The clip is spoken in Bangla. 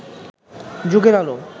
যুগের আলো